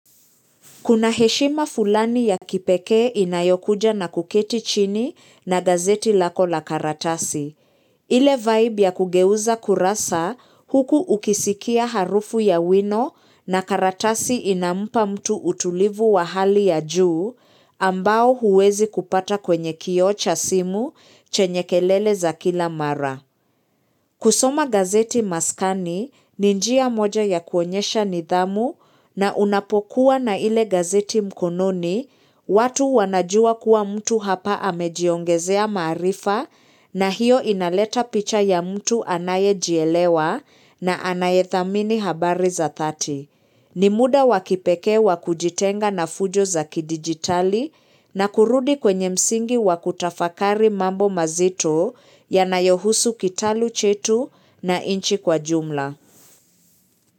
Kuna heshima fulani ya kipeke inayokuja na kuketi chini na gazeti lako la karatasi. Ile vibe ya kugeuza kurasa huku ukisikia harufu ya wino na karatasi inampa mtu utulivu wa hali ya juu ambao huwezi kupata kwenye kioo cha simu chenye kelele za kila mara. Kusoma gazeti maskani, ni njia moja ya kuonyesha nidhamu na unapokuwa na ile gazeti mkononi, watu wanajua kuwa mtu hapa amejiongezea maarifa na hiyo inaleta picha ya mtu anaye jielewa na anaye thamini habari za thati. Ni muda wakipekee wa kujitenga na fujo za kidigitali na kurudi kwenye msingi wakutafakari mambo mazito ya nayohusu kitalu chetu na inchi kwa jumla.